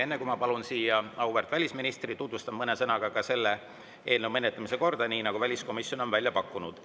Enne kui ma palun siia auväärt välisministri, tutvustan mõne sõnaga selle menetlemise korda, nii nagu väliskomisjon on selle välja pakkunud.